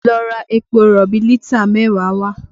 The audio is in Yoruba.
Lọ ra epo rọ̀bì lítà mẹ́wàá wá!